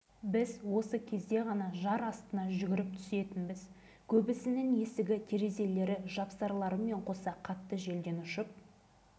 бәрін өз көзіммен көрдім оны ашқанымызда тілдей хат шығады бір-екі минуттан соң қатты жарылыс естіледі де